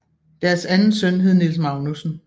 Deres anden søn hed Niels Magnussen